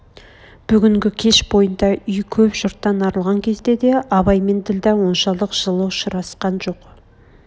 бүгнгі кеш бойында үй көп жұрттан арылған кезде де абай мен ділдә оншалық жылы ұшырасқан жоқ